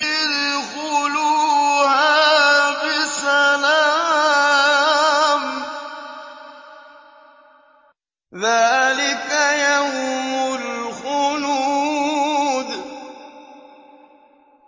ادْخُلُوهَا بِسَلَامٍ ۖ ذَٰلِكَ يَوْمُ الْخُلُودِ